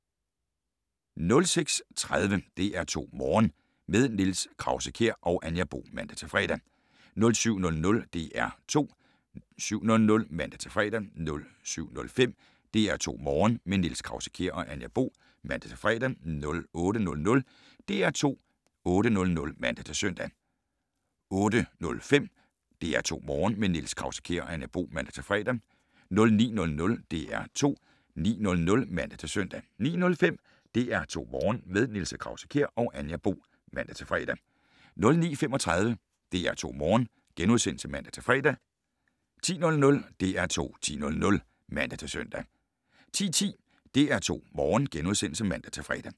06:30: DR2 Morgen - med Niels Krause-Kjær og Anja Bo (man-fre) 07:00: DR2 7:00 (man-fre) 07:05: DR2 Morgen - med Niels Krause-Kjær og Anja Bo (man-fre) 08:00: DR2 8:00 (man-søn) 08:05: DR2 Morgen - med Niels Krause-Kjær og Anja Bo (man-fre) 09:00: DR2 9:00 (man-søn) 09:05: DR2 Morgen - med Niels Krause-Kjær og Anja Bo (man-fre) 09:35: DR2 Morgen *(man-fre) 10:00: DR2 10:00 (man-søn) 10:10: DR2 Morgen *(man-fre)